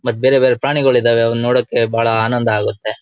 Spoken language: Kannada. ಮತ್ತ್ ಬೇರೆ ಬೇರೆ ಪ್ರಾಣಿಗಳು ಇದಾವೆ ಅವನ್ ನೋಡಕ್ಕೆ ಬಹಳ ಆನಂದ ಆಗುತ್ತೆ .